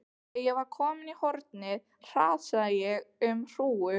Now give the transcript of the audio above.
Þegar ég var komin í hornið hrasaði ég um hrúgu.